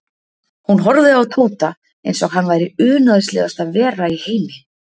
Hún horfði á Tóta eins og hann væri unaðslegasta vera í heimi.